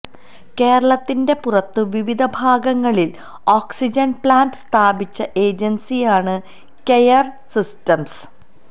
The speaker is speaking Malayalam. കേരളത്തിന്റെ പുറത്ത് വിവിധ ഭാഗങ്ങളില് ഓക്സിജന് പ്ലാന്റ് സ്ഥാപിച്ച ഏജന്സിയാണ് കെയര് സിസ്റ്റംസ്